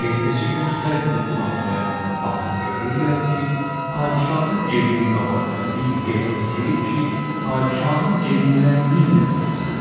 Ertəsi gün xalq yuxudan oyananda baxıb görürlər ki, padişahın evinin qabağında bir ev tikilib ki, padişahın evindən min dəfə gözəldir.